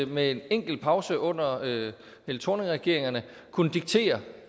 med en enkelt pause under helle thorningregeringerne kunnet diktere